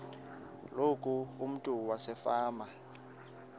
loku umntu wasefama